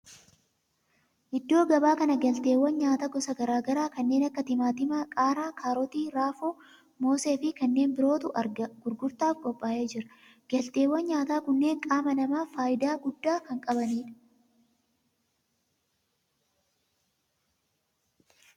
Iddoo gabaa kana galteewwan nyaataa gosa garaa garaa kanneen akka timaatima, qaaraa, kaarotii, raafuu, moosee fi kanneen birootu gurgurtaaf qophaa'ee jira. Galteewwan nyaataa kunneen qaama namaaf faayidaa guddaa kan qabanidha.